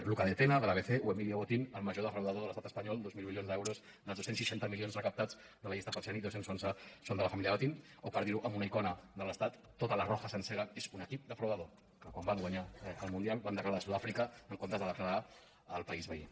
luca de tena de l’botín el major defraudador de l’estat espanyol dos mil milions d’euros dels dos cents i seixanta milions recaptats de la llista falciani dos cents i onze són de la família botín o per dir ho amb una icona de l’estat tota la roja sencera és un equip defraudador que quan va guanyar el mundial van decla rar a sud àfrica en comptes de declarar al país veí